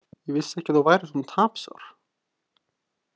Ég vissi ekki að þú værir svona tapsár.